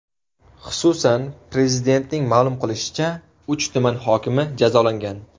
Xususan, Prezidentning ma’lum qilishicha, uch tuman hokimi jazolangan.